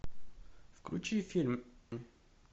включи фильм